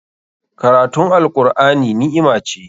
Karatun Al'Qur'ani ni'ima ce.